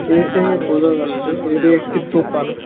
এ থেকে বুঝা যাচ্ছে এটি একটি দোকান।